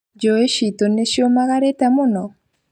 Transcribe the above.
Njũĩ citũ nĩciũmagarĩte mũno?